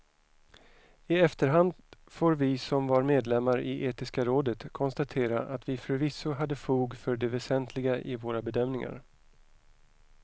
I efterhand får vi som var medlemmar i etiska rådet konstatera att vi förvisso hade fog för det väsentliga i våra bedömningar.